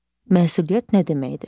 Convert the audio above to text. Məsuliyyət nə deməkdir?